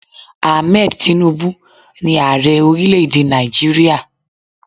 Ahmed Tinubu ní Ààrẹ orílẹ̀ èdè Nàìjíríà.